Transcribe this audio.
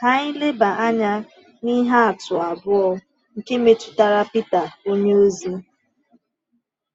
Ka anyị leba anya n’ihe atụ abụọ, nke metụtara Pita onyeozi.